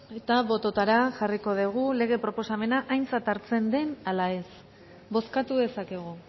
eta bototara jarriko dugu lege proposamena aintzat hartzen den ala ez bozkatu dezakegu